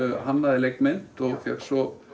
hannaði leikmynd og fékk svo